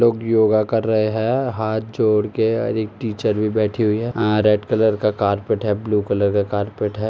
लोग योग कर रहे है हाथ जोड़ के और एक टीचर भी बैठी हुई है। अ रेड कलर का कारपेट है ब्लू कलर का कारपेट है।